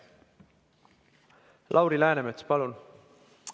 Lauri Läänemets, palun!